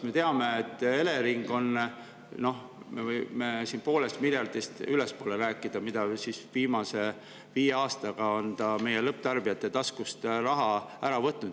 Me teame, et Elering on, me võime siin rääkida, et summa, mis ta viimase viie aastaga on meie lõpptarbijate taskust raha ära võtnud, on poolest miljardist ülespoole.